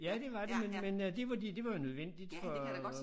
Ja det var det men men øh det var det det var jo nødvendigt for